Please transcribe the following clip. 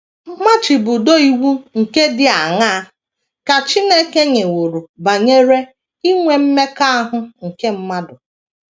Mmachibido iwu ndị dị aṅaa ka Chineke nyeworo banyere inwe mmekọahụ nke mmadụ?